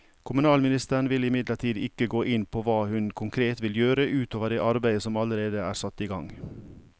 Kommunalministeren vil imidlertid ikke gå inn på hva hun konkret vil gjøre ut over det arbeidet som allerede er satt i gang.